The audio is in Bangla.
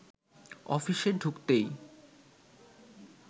অফিসে ঢুকতেই